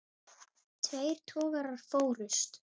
Tveir togarar fórust.